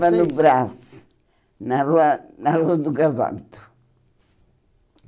vocês? Morava no Brás, na rua na rua do Gasóbito.